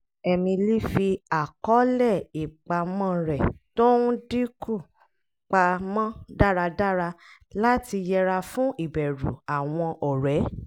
emily fi àkọọlẹ̀ ìpamọ́ rẹ̀ tó ń dínkù pa mọ́ dáradára láti yẹra fún ìbẹ̀rù àwọn ọ̀rẹ́